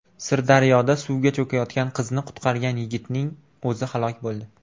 Sirdaryoda suvga cho‘kayotgan qizni qutqargan yigitning o‘zi halok bo‘ldi.